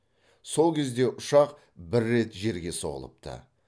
сол кезде ұшақ бір рет жерге соғылыпты